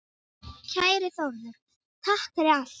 Kæri Þórður, takk fyrir allt.